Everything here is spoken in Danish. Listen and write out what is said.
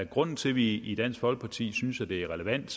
grunden til at vi i dansk folkeparti synes at det er relevant